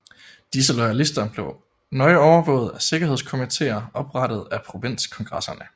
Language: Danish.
Disse loyalister blev nøje overvåget af sikkerhedskomitéer oprettet af provinskongresserne